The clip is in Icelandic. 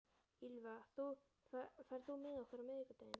Ýlfa, ferð þú með okkur á miðvikudaginn?